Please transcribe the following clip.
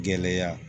Gɛlɛya